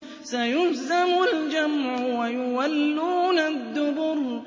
سَيُهْزَمُ الْجَمْعُ وَيُوَلُّونَ الدُّبُرَ